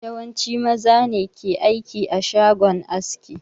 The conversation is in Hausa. Yawanci maza ne ke aiki a shagon aski